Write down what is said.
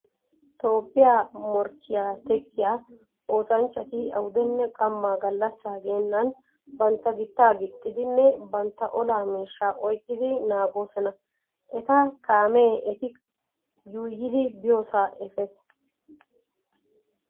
Toophphiyaa mokkiyaa teqqiyaa oosanchchati awudenne qamma gallassaa geennan bantta gittaa gixxidinne bantta olaa miishshaa oyqqidi naagoosona. Eta kaamee eti yuuyyidi biyoosaa efees.